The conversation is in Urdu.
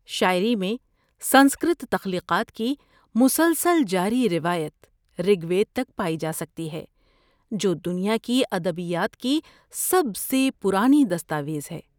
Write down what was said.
شاعری میں سنسکرت تخلیقات کی مسلسل جاری روایت رگ وید تک پائی جا سکتی ہے، جو دنیا کی ادبیات کی سب سے پرانی دستاویز ہے۔